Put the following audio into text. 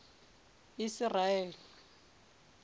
isiraele